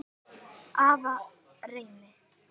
Afa Reyni.